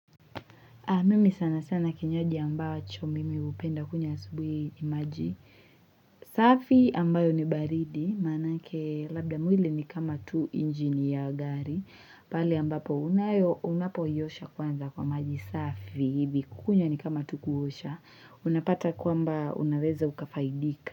Mimi sana sana kinywaji ambacho mimi upenda kunywa asubui ni maji. Safi ambayo ni baridi, manake labda mwili ni kama tu injini ya gari. Pale ambapo unapoiosha kwanza kwa maji. Safi hivi kukunywa ni kama tu kuosha. Unapata kwamba unaweza ukafaidika.